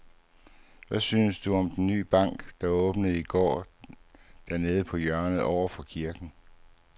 Hvad synes du om den nye bank, der åbnede i går dernede på hjørnet over for kirken?